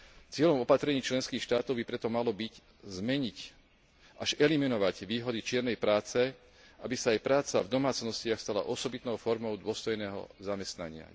Cieľom opatrení členských štátov by preto malo byť zmeniť, až eliminovať výhody čiernej práce, aby sa aj práca v domácnostiach stala osobitnou formou dôstojného zamestnania.